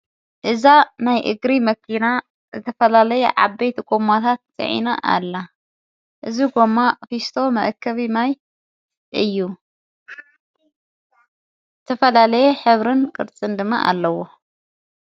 እዛ ናይ እግሪ መኪና ዝተፈላለየ ዓበይቲ ጎማታት ተፃዒና ኣላ፡፡ እዚ ጐማ ፊስቶ መእከቢ ማይ እዩ፣ ዝተፈላለየ ሕብርን ቅርፅን ድማ ኣለዎ፡፡